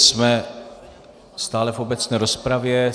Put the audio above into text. Jsme stále v obecné rozpravě.